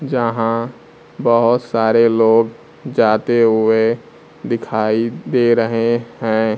जहां बहोत सारे लोग जाते हुए दिखाई दे रहे हैं।